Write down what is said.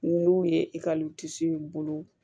N'u ye ekɔlisow bolo